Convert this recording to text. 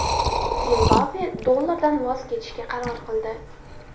Zimbabve dollardan voz kechishga qaror qildi.